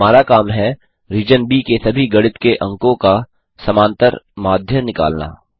हमारा काम है रीजन ब के सभी गणित के अंकों का समांतर माध्य निकालना